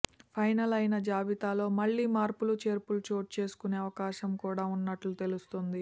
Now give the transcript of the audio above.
final అయిన జాబితాలో మళ్లీ మార్పులు చేర్పులు చోటుచేసుకునే అవకాశం కూడా ఉన్నట్లు తెలుస్తోంది